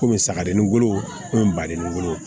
Komi sagaden wolo komi badennin bolo